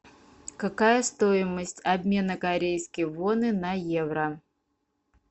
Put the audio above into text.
какая стоимость обмена корейской воны на евро